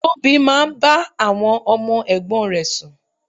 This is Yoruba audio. Tóbi máa ń bá àwọn ọmọ ẹ̀gbọ́n rè sùn.